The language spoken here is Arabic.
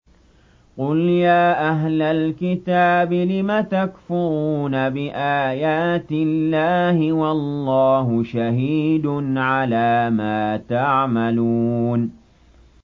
قُلْ يَا أَهْلَ الْكِتَابِ لِمَ تَكْفُرُونَ بِآيَاتِ اللَّهِ وَاللَّهُ شَهِيدٌ عَلَىٰ مَا تَعْمَلُونَ